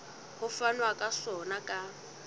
ho fanwa ka sona ka